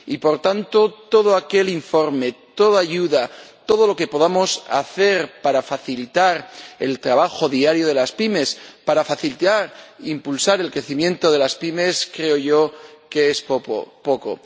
Y, por tanto, todo informe, toda ayuda, todo lo que podamos hacer para facilitar el trabajo diario de las pymes, para facilitar e impulsar el crecimiento de las pymes, creo yo que es poco.